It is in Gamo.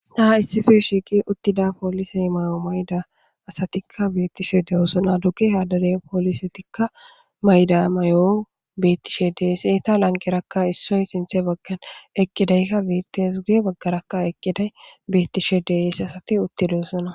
Taha issife shiiqi uttida poolisey may7o mayda asatikka beettishe dewosona duge hadade poolisetikka mayda may7o bettishe deeseta lanqerakka issoy sinthe baggan eqqidaykka beettes ge baggarakka eqqiday beettishe dees asati uttidosana.